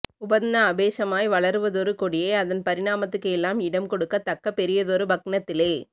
உபக்ந அபேஷமாய் வளருவதொரு கொடியை அதின் பரிணாமத்துக்கு எல்லாம் இடம் கொடுக்கத் தக்க பெரியதொரு பக்நத்திலே